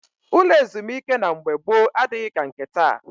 Ụlọ ezumike na mgbe gboo adịghị ka nke taa